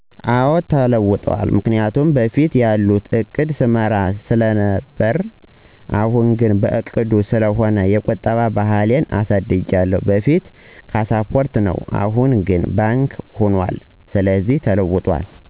አወ ተለውጠዋል ምክንያቱም በፊት ያለ ዕቅድ ሰመራ ስለ ነበር አሁን ግን በዕቅድ ስለሆነ የቁጠባ ባህሌን አሳድጊያለሁ በፉት ካስፖርት ነበር አሁን ግን ባንክ ሁኑአል ስለዚህ ተለውጦል።